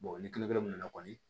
ni nana kɔni